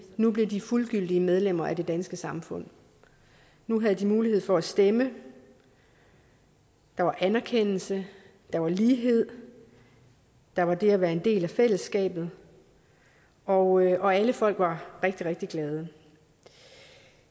nu blev de fuldgyldige medlemmer af det danske samfund nu havde de mulighed for at stemme der var anerkendelse der var lighed der var det at være en del af fællesskabet og og alle folk var rigtig rigtig glade